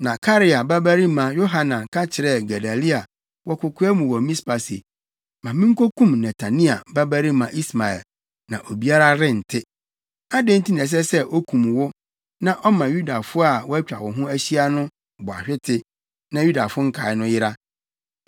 Na Karea babarima Yohanan ka kyerɛɛ Gedalia wɔ kokoa mu wɔ Mispa se, “Ma minkokum Netania babarima Ismael, na obiara rente. Adɛn nti na ɛsɛ sɛ okum wo na ɔma Yudafo a wɔatwa wo ho ahyia no bɔ ahwete, na Yudafo nkae no yera?”